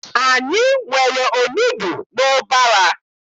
Anyị nwere onugbu n'ụbara.